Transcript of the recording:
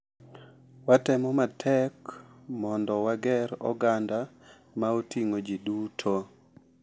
Watemo matek mondo wager oganda ma oting'o ji duto